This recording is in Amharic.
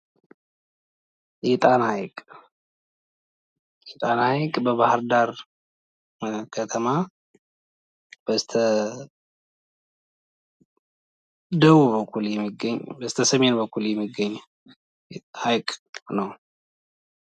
የጣና ሐይቅ የጣና ሐይቅ በባህር ዳር ከተማ በስተደቡ በኩል የሚገኝ በኩል የሚገኝ ሀይቅ ነው ።